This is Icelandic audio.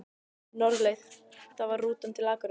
Norðurleið, það var rútan til Akureyrar!